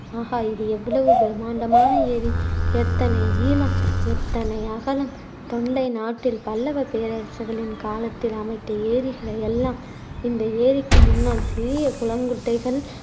ஆகா இது எவ்வளவு பிரம்மாண்டமான ஏரி எத்தனை நீளம் எத்தனை அகலம் தொண்டை நாட்டில் பல்லவப் பேரரசர்களின் காலத்தில் அமைத்த ஏரிகளையெல்லாம் இந்த ஏரிக்கு முன்னால் சிறிய குளங்குட்டைகள்